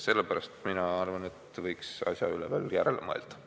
Sellepärast mina arvan, et võiks asja üle veel järele mõelda.